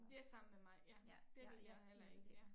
Det samme med mig ja det vil jeg heller ikke ja